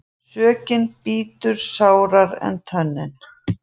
Sökin bítur sárara en tönnin.